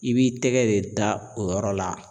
I b'i tɛgɛ de da o yɔrɔ la